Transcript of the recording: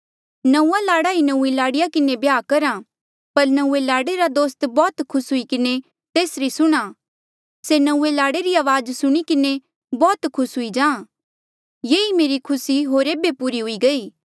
नंऊँआं लाड़ा ही नौंईं लाड़ीया किन्हें ब्याह करहा पर नऊँए लाड़े रा दोस्त बौह्त खुस हूई किन्हें तेसरी सुणहां से नऊँए लाड़े री अवाज सुणी किन्हें बौह्त खुस हूई जाहाँ ये ही मेरी खुसी होर एेबे पूरी हुई गई